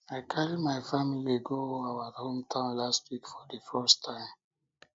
i carry my family go our hometown last week for the first time